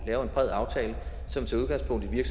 lave en bred aftale som tager udgangspunkt i